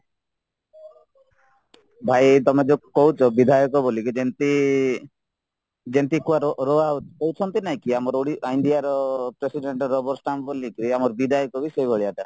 ଭାଇ ତମେ ଯୋଉ କହୁଚ ବିଧାୟକ ବୋଲିକି ଯେମିତି ହଉଛନ୍ତି ଆମ Indiaର president ରବର ଷ୍ଟାଣ୍ଡ ଭଳିକି ଆମର ବିଧାୟକବି ସେଈ ଭଳିଆ ଟା